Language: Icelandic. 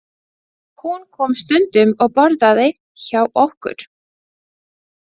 Hún kom stundum og borðaði hjá okkur.